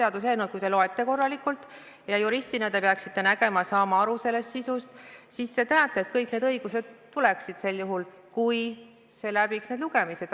Kui te juristina seaduseelnõu korralikult loete, siis te peaksite selle sisust aru saama ja teadma, et kõik need õigused tuleksid sel juhul, kui eelnõu läbiks vajalikud lugemised.